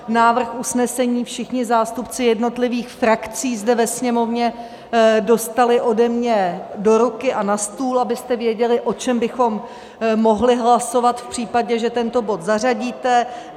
Návrh usnesení všichni zástupci jednotlivých frakcí zde ve Sněmovně dostali ode mě do ruky a na stůl, abyste věděli, o čem bychom mohli hlasovat v případě, že tento bod zařadíte.